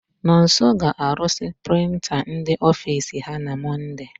Nonso ga-aruzi prịnta ndị ofiisi ha na Mọnde.